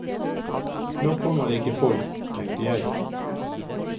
Nå kommer det ikke folk, tenkte jeg.